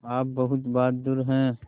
आप बहुत बहादुर हैं